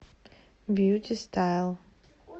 бьюти стайл